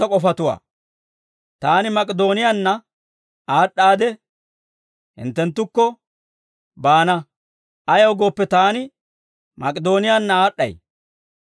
Taani Mak'idooniyaanna aad'd'aadde, hinttenttukko baana; ayaw gooppe, taani Mak'idooniyaanna aad'd'ay.